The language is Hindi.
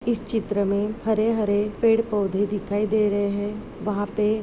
इस चित्र में हरे हरे पेड़ पौधे दिखाई दे रहे हैं वहां पे--